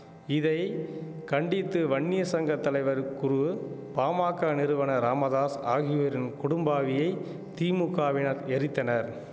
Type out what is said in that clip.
இதை கண்டித்து வன்னியர் சங்க தலைவர் குரு பாமாக்க நிறுவனர் ராமதாஸ் ஆகியோரின் கொடும்பாவியை திமுகவினர் எரித்தனர்